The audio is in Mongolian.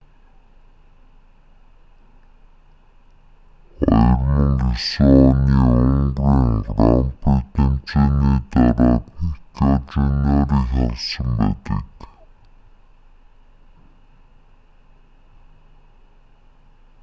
2009 оны унгарын гран при тэмцээний дараа пикёт жуниорыг халсан байдаг